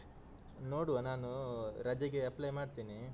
ನೋಡುವ ನಾನು ರಜೆಗೆ apply ಮಾಡ್ತೀನಿ.